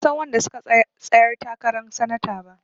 Ban san wanda suka tsayar takaran sanata ba.